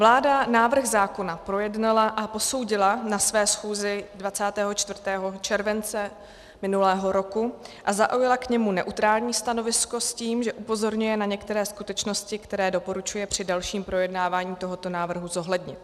Vláda návrh zákona projednala a posoudila na své schůzi 24. července minulého roku a zaujala k němu neutrální stanovisko s tím, že upozorňuje na některé skutečnosti, které doporučuje při dalším projednávání tohoto návrhu zohlednit.